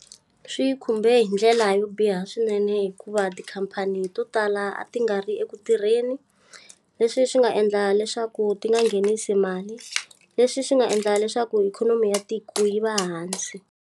Swi khumbe hi ndlela yo biha swinene hikuva tikhampani to tala ti nga ri eku tirheni. Leswi swi nga endla leswaku ti nga nghenisi mali, leswi swi nga endla leswaku ikhonomi ya tiko yi va hansi.